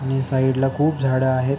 आणि साइड ला खूप झाड आहेत.